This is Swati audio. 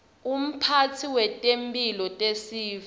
umphatsi wetemphilo tesive